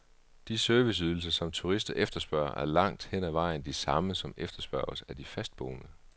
De serviceydelser, som turister efterspørger, er langt hen ad vejen de samme, som efterspørges af de fastboende.